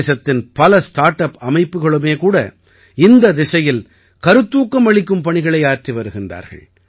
தேசத்தின் பல start up அமைப்புகளுமே கூட இந்தத் திசையில் கருத்தூக்கம் அளிக்கும் பணிகளை ஆற்றி வருகிறார்கள்